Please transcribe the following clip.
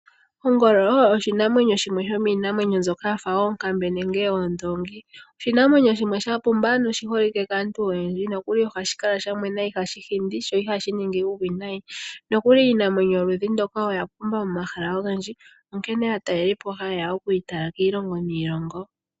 Ongolo oyo shimwe sho miinamwenyo mbyono ya fa onkambe nenge oondongi, oshinamwenyo shimwe sha pumba noshi holike kaantu oyendji, nokuli ohashi kala sha mwena, ihashi hindi sho ihashi ningi uuwinayi. Nokuli iinamwenyo yoludhi ndoka oya pumba momahala ogendji, onkene aatalelipo ohaye ya oku yi tala kiilongo niilongo.